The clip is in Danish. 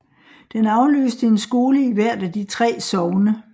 Den afløste en skole i hvert af de 3 sogne